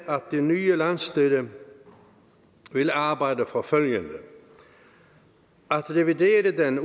det nye landsstyre vil arbejde for følgende at revidere den